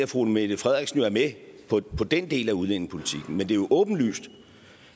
fru mette frederiksen er med på den del af udlændingepolitikken men det er jo åbenlyst